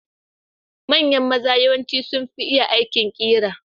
Manyan maza yawanci sunfi iya aikin ƙera.